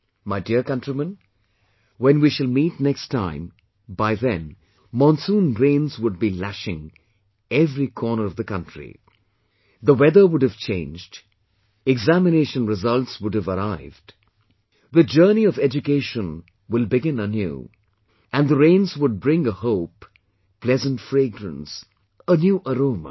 My dear countrymen, when we shall meet next time by then monsoon rains would be lashing every corner of the country, the weather would have changed, examination results would have arrived, the journey of education will begin anew and the rains would bring a hope, pleasant fragrance, a new aroma